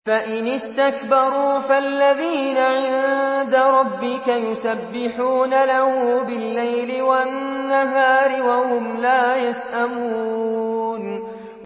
فَإِنِ اسْتَكْبَرُوا فَالَّذِينَ عِندَ رَبِّكَ يُسَبِّحُونَ لَهُ بِاللَّيْلِ وَالنَّهَارِ وَهُمْ لَا يَسْأَمُونَ ۩